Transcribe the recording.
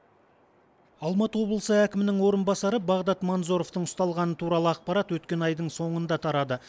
алматы облысы әкімінің орынбасары бағдат манзоровтың ұсталғаны туралы ақпарат өткен айдың соңында тарады